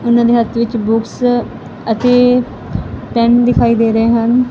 ਉਹਨਾਂ ਦੇ ਹੱਥ ਵਿੱਚ ਬੁਕਸ ਅਤੇ ਪੈਨ ਦਿਖਾਈ ਦੇ ਰਹੇ ਹਨ।